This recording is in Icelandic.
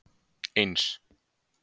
eins